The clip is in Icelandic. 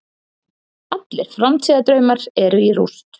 Allir framtíðardraumar eru í rúst.